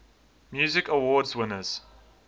music awards winners